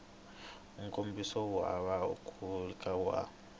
nkomiso wu hava nkhulukelano wa